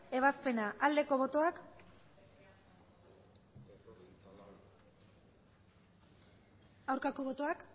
ebazpena aldeko botoak aurkako botoak